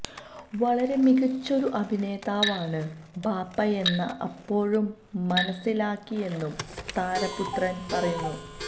വളരെ മികച്ചൊരു അഭിനേതാവാണ് ബാപ്പയെന്ന് അപ്പോഴും മനസ്സിലാക്കിയെന്നും താരപുത്രന് പറയുന്നു